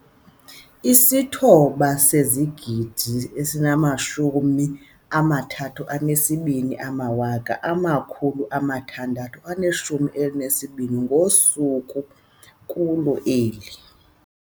9 032 612 ngosuku kulo lonke eli.